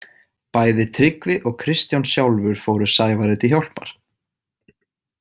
Bæði Tryggvi og Kristján sjálfur fóru Sævari til hjálpar.